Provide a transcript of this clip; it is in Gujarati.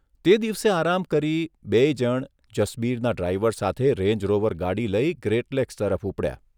તે દિવસે આરામ કરી બેય જણ જસબીરના ડ્રાઇવર સાથે રેન્જરોવર ગાડી લઇ ગ્રેટ લેક્સ તરફ ઉપડ્યા.